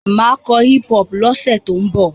Mà á kọ hip-hop lọ́sẹ̀ tó ń bọ̀.